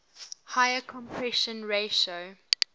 higher compression ratio